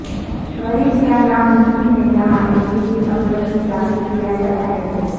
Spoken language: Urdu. مریض یہ ناممکن ہے جہاں ایک طبی سہولت میں داخل کیا جاتا ہے تو